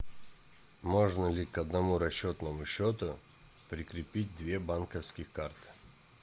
можно ли к одному расчетному счету прикрепить две банковские карты